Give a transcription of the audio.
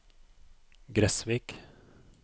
Gressvik